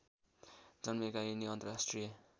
जन्मिएका यिनी अन्तर्राष्ट्रिय